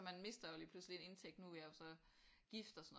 Man mister jo lige pludselig en indtægt nu er jeg så gift og sådan noget